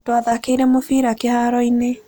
Twathaakĩire mũbira kĩhaaro-inĩ.